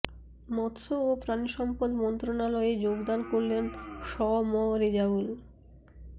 মৎস্য ও প্রাণিসম্পদ মন্ত্রণালয়ে যোগদান করলেন শ ম রেজাউল